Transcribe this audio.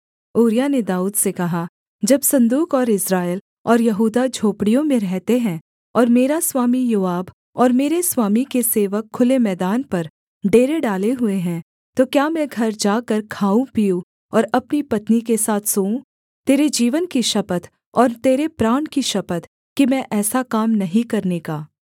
ऊरिय्याह ने दाऊद से कहा जब सन्दूक और इस्राएल और यहूदा झोपड़ियों में रहते हैं और मेरा स्वामी योआब और मेरे स्वामी के सेवक खुले मैदान पर डेरे डाले हुए हैं तो क्या मैं घर जाकर खाऊँ पीऊँ और अपनी पत्नी के साथ सोऊँ तेरे जीवन की शपथ और तेरे प्राण की शपथ कि मैं ऐसा काम नहीं करने का